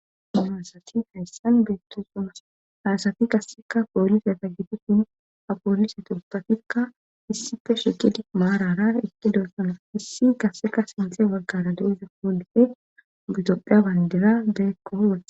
Nasati hayssan beettosuma hasati kasseka poolise sa gitusin ha poolise tospatikka issife shiqidi maarara eqqi doossana issi kasseka sinxe walgara do'iza poolife butopphea bandira beekkoo wale..